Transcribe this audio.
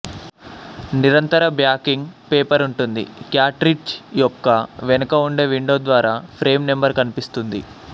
నిరంతర backing paper ఉంటుంది cartridge యొక్క వెనక ఉండే విండో ద్వారా ఫ్రేమ్ నెంబరు కనిపిస్తుంది